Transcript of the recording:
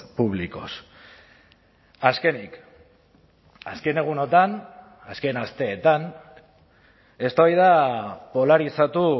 públicos azkenik azken egunotan azken asteetan eztabaida polarizatu